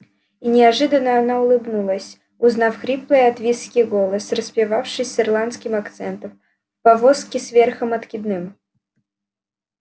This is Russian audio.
и неожиданно она улыбнулась узнав хриплый от виски голос распевавший с ирландским акцентом в повозке с верхом откидным